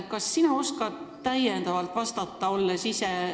Kas sina oskad sellele vastata?